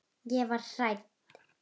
Ég varð hrædd.